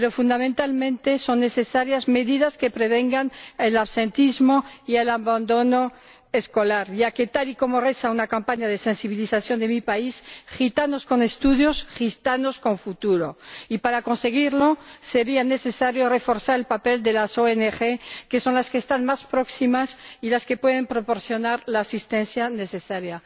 Pero, fundamentalmente, son necesarias medidas que prevengan el absentismo y el abandono escolar, ya que, tal y como reza una campaña de sensibilización de mi país, Gitanos con estudios, gitanos con futuro. Y, para conseguirlo, sería necesario reforzar el papel de las ONG, que son las que están más próximas y las que pueden proporcionar la asistencia necesaria.